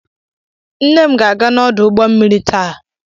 Nne m ga-aga n'ọdụ ụgbọ mmiri taa.